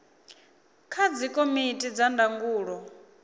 kha dzikomiti dza ndangulo ya